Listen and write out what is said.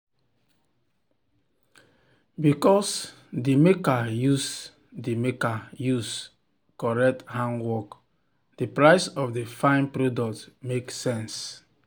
because the maker use the maker use correct handwork the price of the fine product make sense.